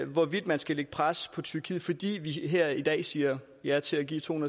hvorvidt man skal lægge pres på tyrkiet fordi vi her i dag siger ja til at give to